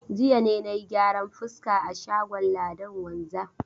Jiya ne na yi gyaran fuska a shagon Ladan wanzam.